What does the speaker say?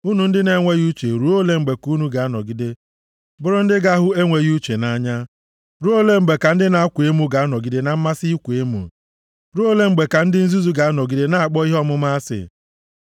“Unu ndị na-enweghị uche ruo ole mgbe ka unu ga-anọgide bụrụ ndị ga-ahụ enweghị uche nʼanya? Ruo ole mgbe ka ndị na-akwa emo ga-anọgide na mmasị ịkwa emo? Ruo ole mgbe ka ndị nzuzu ga-anọgide na-akpọ ihe ọmụma asị?